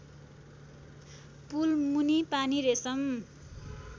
पुल मुनि पानी रेशम